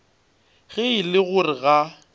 ge e le gore ga